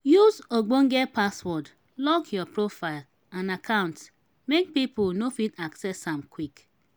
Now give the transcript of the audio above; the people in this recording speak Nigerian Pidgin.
use ogbonge password lock your profile and accounts make pipo no fit access am quick